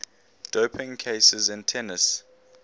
doping cases in tennis